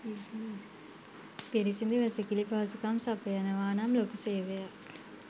පිරිසිඳු වැසිකිලි පහසුකම් සපයනවා නම් ලොකු සේවයක්.